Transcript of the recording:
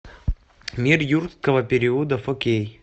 мир юрского периода фо кей